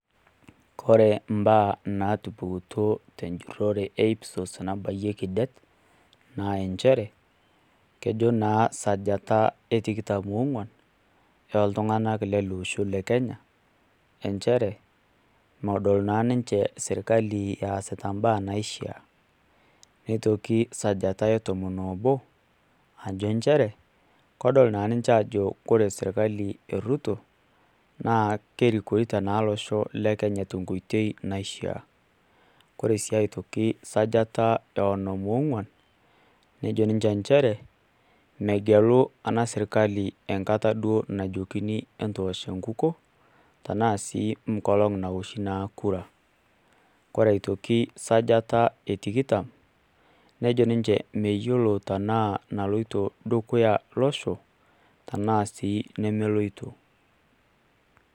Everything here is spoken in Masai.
Kore imbaa naatupukutuo tenjurrore e IPSOS nabayieki det naa inchere kejo naa esajata etikitam oong'uan, ore iltung'anak lele osho le Kenya aah nchere medol eesita imbaa naishia neitoki esajata etomon oobo ajo inchere kore naa sirkali e Ruto naa kerikito naa olosho le Kenya tenkoitoi naishia, kore sii esajata ee onom oong'uan nejo ninche inchere megelu ena sirkali enkata najokini eentoosh enkukuo tenaa sii enkolong' naa naoshi kura kore aitoki esajata e tikitam nejo ninche meyiolo tenaa naloito dukuya olosho tenaa sii nemeloito.